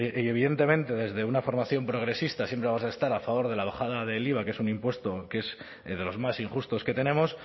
y evidentemente desde una formación progresista siempre vamos a estar a favor de la bajada del iva que es un impuesto que es de los más injustos que tenemos